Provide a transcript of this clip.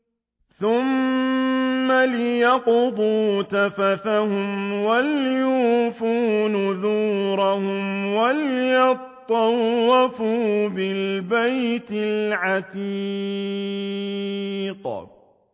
ثُمَّ لْيَقْضُوا تَفَثَهُمْ وَلْيُوفُوا نُذُورَهُمْ وَلْيَطَّوَّفُوا بِالْبَيْتِ الْعَتِيقِ